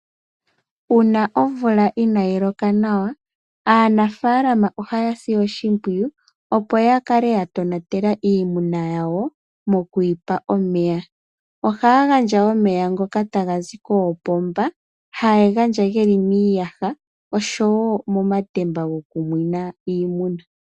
Uuna omvula inaayi loka nawa, aanafalama ohayasi oshimpwiyu opo yakale ya tonatela iimuna yawo mokwiyipa omeya. Ohaya gandja omeya ngoka hagazi koopomba, haye ga gandja ge li miiyaha nosho wo omatemba gokunwina iimuna.